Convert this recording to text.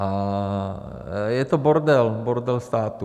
A je to bordel - bordel státu.